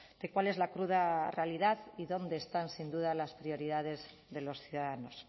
de cuál es la cruda realidad y dónde están sin duda las prioridades de los ciudadanos